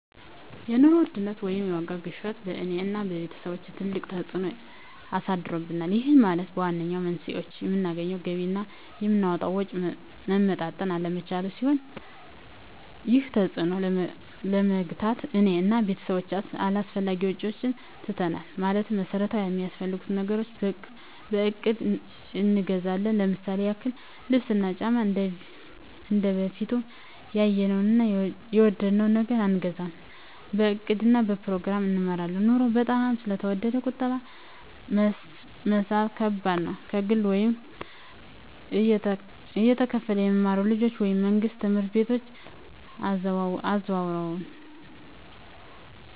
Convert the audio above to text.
የኑሮ ውድነት ወይም የዋጋ ግሽበት በእኔ እና በቤተሰቦቸ ትልቅ ተፅእኖ አሳድሮብናል ይህም ማለት ዋነኛው መንስኤው የምናገኘው ገቢ እና የምናወጣው ወጪ መመጣጠን አለመቻሉን ሲሆን ይህንን ተፅዕኖ ለመግታት እኔ እና ቤተሰቦቸ አላስፈላጊ ወጪዎችን ትተናል ማለትም መሠረታዊ ሚያስፈልጉንን ነገሮች በእቅድ እንገዛለን ለምሳሌ ያክል ልብስ እና ጫማ እንደበፊቱ ያየነውን እና የወደድነውን ነገር አንገዛም በእቅድ እና በፕሮግራም እንመራለን ኑሮው በጣም ስለተወደደ ቁጠባ መሣብ ከባድ ነው። ከግል ወይም እየተከፈለ የሚማሩ ልጆችን ወደ መንግሥት ትምህርት ቤቶች አዘዋውረናል።